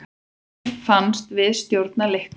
Mér fannst við stjórna leiknum.